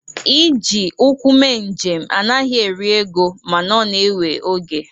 Iji ụkwụ mee njem anaghị eri ego mana ọ na-ewe oge.